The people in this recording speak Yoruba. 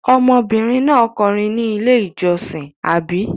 Ọmọbìnrin náà kọrin ní Ilé-ìjọsìn, àbí?